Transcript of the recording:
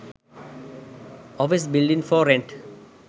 office building for rent